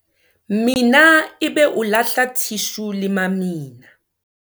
mina ebe o lahla thishu le mamina